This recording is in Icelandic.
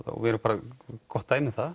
og við erum gott dæmi um það